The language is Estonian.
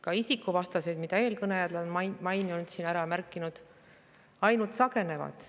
Ka isikuvastased, mida eelkõnelejad on maininud, siin ära märkinud, ainult sagenevad.